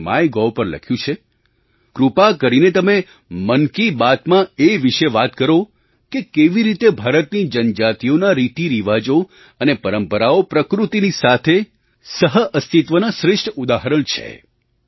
તેમણે માયગોવ પર લખ્યું છે કૃપા કરીને તમે મન કી બાતમાં એ વિશે વાત કરો કે કેવી રીતે ભારતની જનજાતિઓનાં રીતિરિવાજો અને પરંપરાઓ પ્રકૃતિની સાથે સહઅસ્તિત્વનાં શ્રેષ્ઠ ઉદાહરણ છે